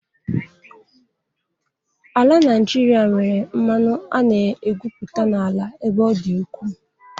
Ala Nijịrịa nwere mmanụ a na-egwupụta n'ala ebe ọ dị ukwu.